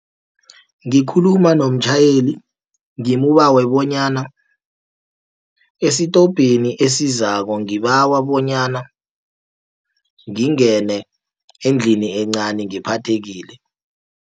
Ngikhuluma nomtjhayeli ngimbawe bonyana esitobheni esizako, ngibawa bonyana ngingene endlini encani ngiphathekile.